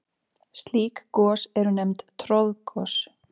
Slík gos eru nefnd troðgos.